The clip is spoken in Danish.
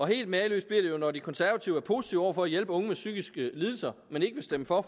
helt mageløst bliver det jo når de konservative er positive over for at hjælpe unge med psykiske lidelser men ikke vil stemme for